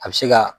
A bɛ se ka